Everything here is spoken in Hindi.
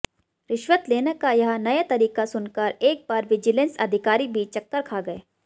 रिश्वत लेने का यह नया तरीका सुनकर एक बार विजिलेंस अधिकारी भी चक्कर खा गए